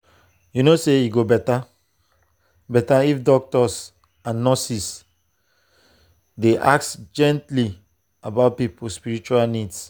you know e go better better if doctors and nurses dey ask gently about people spiritual needs.